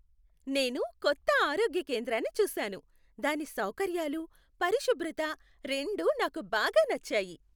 నేను కొత్త ఆరోగ్య కేంద్రాన్ని చూశాను, దాని సౌకర్యాలు, పరిశుభ్రత రెండూ నాకు బాగా నచ్చాయి.